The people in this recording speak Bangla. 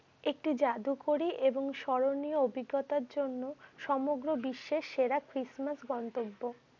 একটি জাদুকরী এবং স্মরণীয় অভিজ্ঞতার জন্য সমগ্র বিশ্বে সেরা Christmas গন্তব্য।